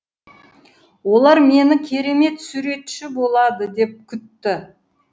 олар мені керемет суретші болады деп күтті